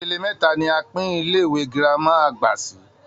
Ipele mẹ́ta ni a pín Ilé-ìwé gírámà àgbà sí